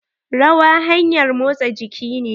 Rawa hanƴar motsa jiki ne.